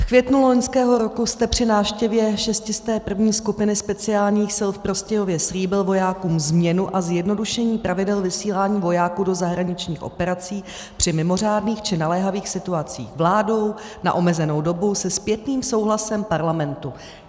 V květnu loňského roku jste při návštěvě 601. skupiny speciálních sil v Prostějově slíbil vojákům změnu a zjednodušení pravidel vysílání vojáků do zahraničních operací při mimořádných či naléhavých situacích vládou na omezenou dobu se zpětným souhlasem Parlamentu.